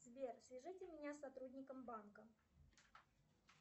сбер свяжите меня с сотрудником банка